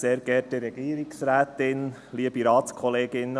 Ich gebe Grossrat Gerber das Wort.